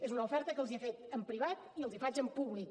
és una oferta que els he fet en privat i els faig en públic